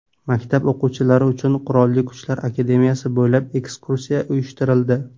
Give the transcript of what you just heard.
Maktab o‘quvchilari uchun Qurolli Kuchlar akademiyasi bo‘ylab ekskursiya uyushtirildi .